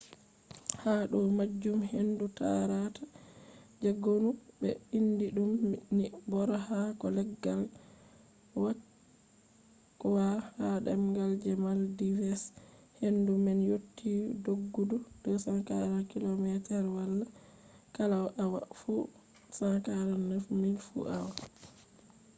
ha do majum hendu tarata je gonu be indi dum ni bora haako leggal kwakwa ha demgal je maldives hendu man yotti doggudu 240 kilometers kala awa fu 149 miles fu awa